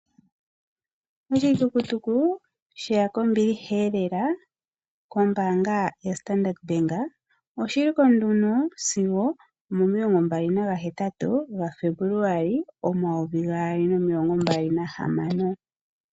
Oshitukutuku osheya kombilihaelela kombaanga yoStandard Bank. Oshitukutuku oshili ko nduno sigo omo28 Febuluali 2026.